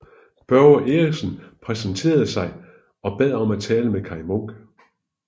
Børge Eriksen præsenterede sig og bad om at tale med Kaj Munk